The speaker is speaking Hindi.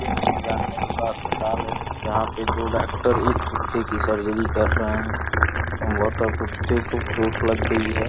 यह एक जानवरों का अस्पताल है जहां पे दो डॉक्टर एक कुत्ते की सर्जरी कर रहे हैं संभवतः कुत्ते को चोट लग गई है।